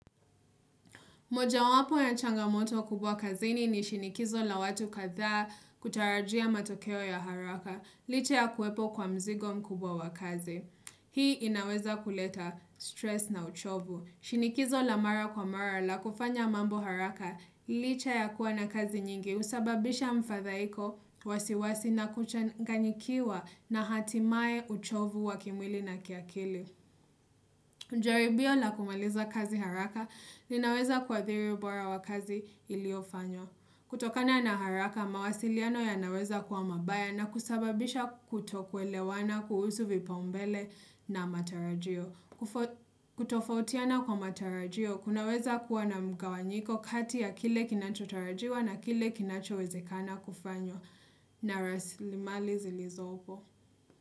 Moja wapo ya changamoto kubwa kazini ni shinikizo la watu katha kutarajia matokeo ya haraka, licha ya kuwepo kwa mzigo mkubwa wa kazi. Hii inaweza kuleta stress na uchovu. Shinikizo la mara kwa mara la kufanya mambo haraka, licha ya kuwa na kazi nyingi usababisha mfadhaiko wasiwasi na kuchanganyikiwa na hatimae uchovu wa kimwili na kiakili. Njelibio la kumaliza kazi haraka ninaweza kuathiri ubora wa kazi iliofanywa. Kutokana na haraka mawasiliano ya naweza kuwa mabaya na kusababisha kutokwelewana kuhusu vipa umbele na matarajio. Kutofautiana kwa matarajio kunaweza kuwa na mgawanyiko kati ya kile kinacho tarajiwa na kile kinacho wezekana kufanywa. Na raslimali zilizopo.